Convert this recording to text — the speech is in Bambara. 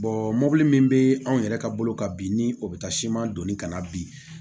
mɔbili min bɛ anw yɛrɛ ka bolo kan bi ni o bɛ taa siman donni kana bi